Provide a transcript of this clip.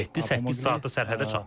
7-8 saatı sərhədə çatdıq.